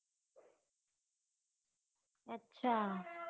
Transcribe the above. અચ્છા